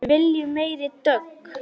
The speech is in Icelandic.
Við viljum meiri dögg!